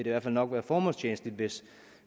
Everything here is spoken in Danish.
i hvert fald nok være formålstjenligt hvis